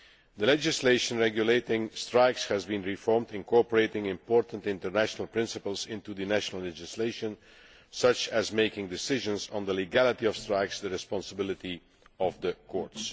The legislation regulating strikes has been reformed, incorporating important international principles into the national legislation, such as making decisions on the legality of strikes the responsibility of the courts.